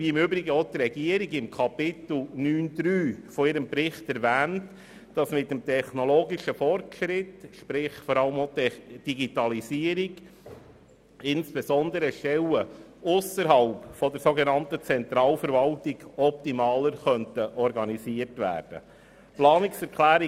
Die Regierung erwähnt im Kapitel 9.3 ihres Berichts, dass mit dem technologischen Fortschritt sprich mit der Digitalisierung, insbesondere ausserhalb der Zentralverwaltung, Stellen optimaler organisiert werden könnten.